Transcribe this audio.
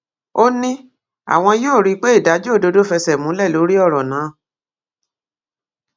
ó ní àwọn yóò rí i pé ìdájọ òdodo fẹsẹ múlẹ lórí ọrọ náà